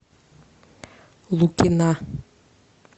лукина